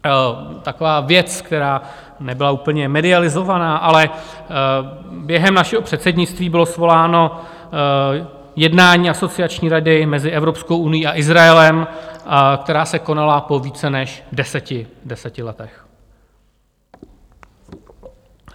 Taková věc, která nebyla úplně medializována, ale během našeho předsednictví bylo svoláno jednání Asociační rady mezi Evropskou unií a Izraelem, která se konala po více než deseti letech.